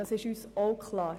Das ist uns auch klar.